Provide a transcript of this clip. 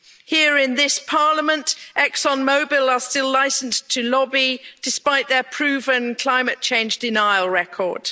Here in this Parliament, Exxon Mobil are still licenced to lobby despite their proven climate change denial record.